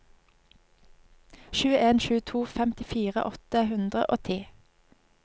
sju en sju to femtifire åtte hundre og ti